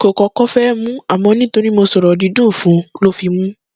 kò kọkọ fẹẹ mú un àmọ nítorí mo sọrọ dídùn fún un ló fi mú un